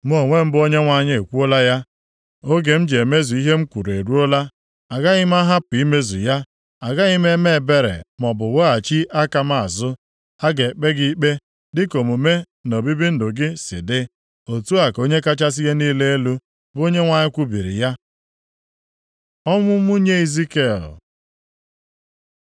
“ ‘Mụ onwe m bụ Onyenwe anyị ekwuola ya. Oge m ji emezu ihe m kwuru eruola. Agaghị m ahapụ imezu ya. Agaghị m eme ebere maọbụ weghachi aka m azụ. A ga-ekpe gị ikpe dịka omume na obibi ndụ gị si dị. Otu a ka Onye kachasị ihe niile elu, bụ Onyenwe anyị kwubiri ya.’ ” Ọnwụ nwunye Izikiel